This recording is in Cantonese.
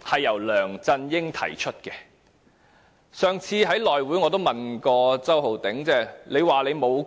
我也曾在上次內務委員會會議上問周浩鼎議員："你說你沒有